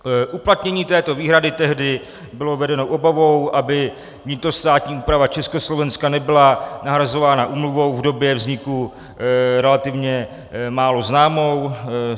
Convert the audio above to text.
Uplatnění této výhrady tehdy bylo vedeno obavou, aby vnitrostátní úprava Československa nebyla nahrazována úmluvou v době vzniku relativně málo známou.